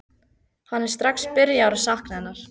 Hann er strax byrjaður að sakna hennar.